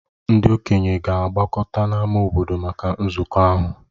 Ndị okenye ga-agbakọta n’ámá obodo maka nzukọ ahụ.